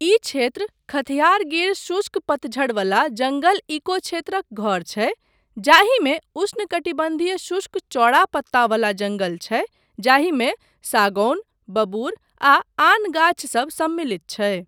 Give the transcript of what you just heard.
ई क्षेत्र खथियार गिर शुष्क पतझड़ वाला जङ्गल इकोक्षेत्रक घर छै, जाहिमे उष्णकटिबन्धीय शुष्क चौड़ा पत्ता वला जङ्गल छै जाहिमे सागौन, बबूर, आ आन गाछ सब सम्मिलित छै।